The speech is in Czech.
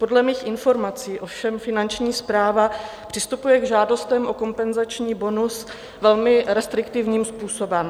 Podle mých informací ovšem Finanční správa přistupuje k žádostem o kompenzační bonus velmi restriktivním způsobem.